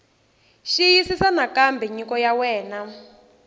xiyisisisa nakambe nyiko ya wena